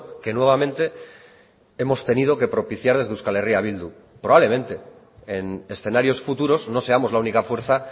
que nuevamente hemos tenido que propiciar desde euskal herria bildu probablemente en escenarios futuros no seamos la única fuerza